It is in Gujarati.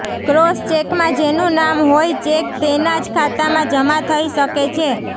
ક્રોસ ચેકમાં જેનું નામ હોય ચેક તેના જ ખાતામાં જમા થઇ શકે છે